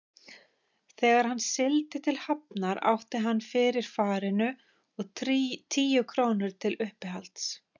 Þegar hann sigldi til Hafnar átti hann fyrir farinu út og tíu krónur til uppihalds.